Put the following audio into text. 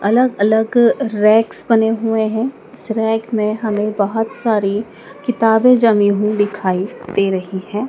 अलग अलग रेक्स बने हुए हैं इस रैक में हमें बहोत सारी किताबें जमी हुई दिखाई दे रही है।